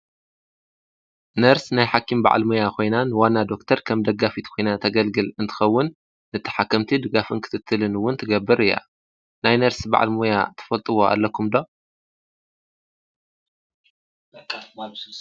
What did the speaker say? ነርስ ናይ ሓኪም በዓል ሞያ ኾይናን ዋና ዶክተር ከም ደጋፊት ኮይናን ተገልግል እንትኸውን ንተሓከምቲ ድጋፍን ክትትልን እውን ትገብር እያ። ናይ ነርስ በዓል ሞያ ተፈልጥዎ ኣለኹም ዶ?